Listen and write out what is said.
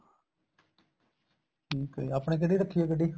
ਠੀਕ ਹੈ ਆਪਣੇ ਕਿਹੜੀ ਰੱਖੀ ਆ ਗੱਡੀ